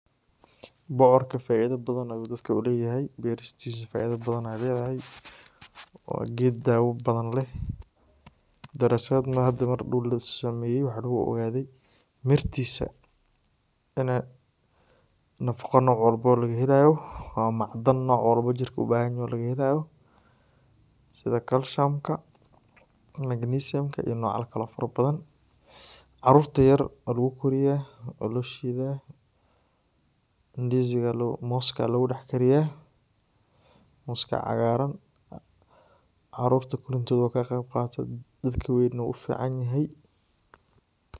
Bocorka faidha badan ayu dadka layhay bersitisa faidha badan ay layhay wa geed dawa badan leh darasaat hada mardaw lasameyey waxa lagu ogadhe mirtisa nafago nooc walbo laga helayo waa macdan nooc wakba jirka u bahanyahay lagahelayo sidaha calciumka, magnesiumka iyo nooc yal kalo farabadan. Carurta yar oo lagu koriya waa loshida mooska loga dax kariya, moska cagaran carurta korintodha kaqeyb qato dadk weyn na uficanyahay.